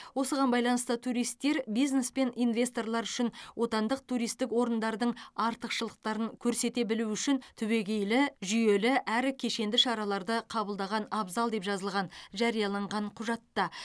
осыған байланысты туристер бизнес пен инвесторлар үшін отандық туристік орындардың артықшылықтарын көрсете білу үшін түбегейлі жүйелі әрі кешенді шараларды қабылдаған абзал деп жазылған жарияланған құжатта